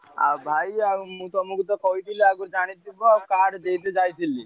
ଆଉ ଭାଇ ଆଉ ମୁଁ ତମୁକୁ ତ କହିଥିଲି ଆଗୁରୁ ଜାଣି ଥିବ card ଦେଇତେ ଯାଇଥିଲି?